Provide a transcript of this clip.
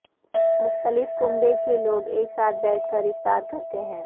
مختلف کنبے کے لوگ ایک ساتھ بیٹھ کر افطار کرتے ہیں